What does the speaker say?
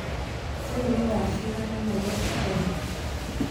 riu ni thaa cĩĩgana Nairobi Kenya